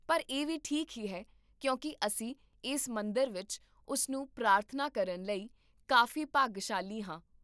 ਪਰ ਇਹ ਵੀ ਠੀਕ ਹੀ ਹੈ, ਕਿਉਂਕਿ ਅਸੀਂ ਇਸ ਮੰਦਰ ਵਿੱਚ ਉਸ ਨੂੰ ਪ੍ਰਾਰਥਨਾ ਕਰਨ ਲਈ ਕਾਫ਼ੀ ਭਾਗਸ਼ਾਲੀ ਹਾਂ